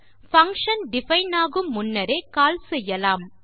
function define ஆகும் முன்னரே call செய்யலாம்